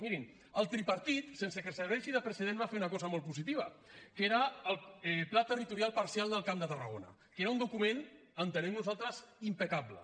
mirin el tripartit sense que serveixi de precedent va fer una cosa molt positiva que era el pla territorial parcial del camp de tarragona que era un document entenem nosaltres impecable